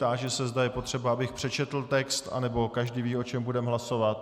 Táži se, zda je potřeba, abych přečetl text, anebo každý ví, o čem budeme hlasovat.